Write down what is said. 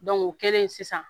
o kɛlen sisan